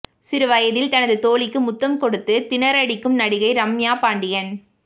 சிறு வயதில் தனது தோழிக்கு முத்தம் கொடுத்து திணறடிக்கும் நடிகை ரம்யா பாண்டியன்